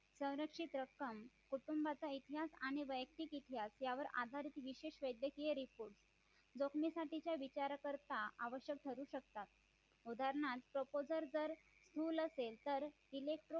संरक्षित रक्कम कुटुंबाचा इतिहास आणि वैयक्तिक इतिहास यावर आधारित विशेष वैद्यकीय report जोखमेसाठीच्या विचारा करता आवश्यक ठरू शकतात उदाहरणार्थ proposal जर स्थूल असेल तर electro